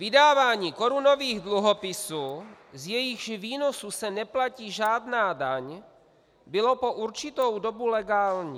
Vydávání korunových dluhopisů, z jejichž výnosů se neplatí žádná daň, bylo po určitou dobu legální.